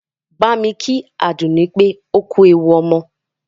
Bámi kí Àdùnní pé ó kú ewu ọmọ!